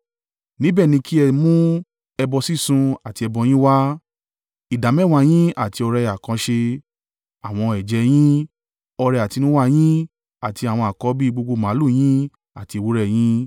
Níbẹ̀ ni kí ẹ mú ẹbọ sísun àti ẹbọ yín wá, ìdámẹ́wàá yín àti ọrẹ àkànṣe, àwọn ẹ̀jẹ́ yín, ọrẹ àtinúwá yín, àti àwọn àkọ́bí gbogbo màlúù yín àti ewúrẹ́ ẹ yín.